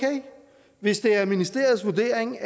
hvis det er ministeriets vurdering